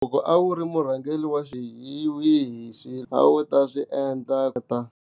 Loko a wu ri murhangeri wa xihi hi swihi leswi a wu ta swi endla.